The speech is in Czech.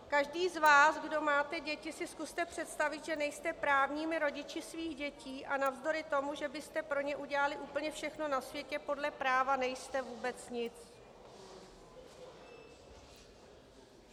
Každý z vás, kdo máte děti, si zkuste představit, že nejste právními rodiči svých dětí a navzdory tomu, že byste pro ně udělali úplně všechno na světě, podle práva nejste vůbec nic.